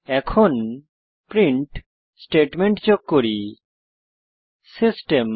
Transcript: এখন print statement যোগ করি সিস্টেম